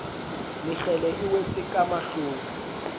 mekgele e wetse ka mahlong